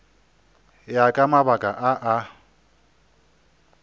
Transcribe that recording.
ya ka mabaka a a